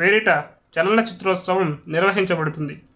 పేరిట చలనచిత్రోత్సవం నిర్వహించబడుతుంది